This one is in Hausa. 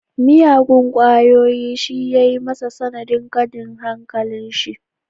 Miyagun kwayoyi shi ya yi masa sanadin kadin hankalin shi